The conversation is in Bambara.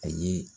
A ye